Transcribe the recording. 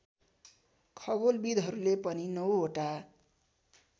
खगोलविधहरूले पनि ९ वटा